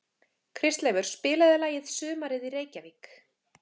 Kristleifur, spilaðu lagið „Sumarið í Reykjavík“.